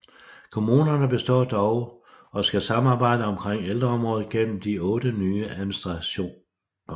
Kommunerne består dog og skal samarbejde omkring ældreområdet gennem de otte nye administrationer